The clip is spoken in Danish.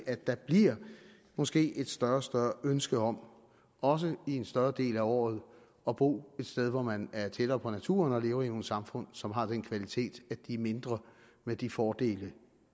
at der måske et større og større ønske om også i en større del af året at bo et sted hvor man er tættere på naturen og lever i nogle samfund som har den kvalitet at de er mindre med de fordele